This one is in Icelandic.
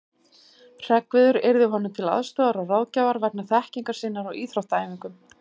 Hreggviður yrði honum til aðstoðar og ráðgjafar vegna þekkingar sinnar á íþróttaæfingum.